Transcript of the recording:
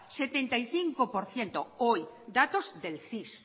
setenta y cinco por ciento hoy datos del cis